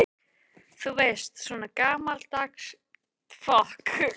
Þú veist, svona gamaldags trékolla.